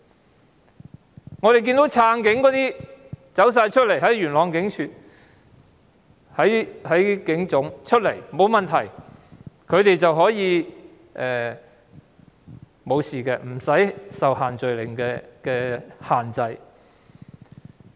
相反，我們看到撐警人士在元朗警署和警察總部聚集，卻安然無事，他們不用受到限聚令限制。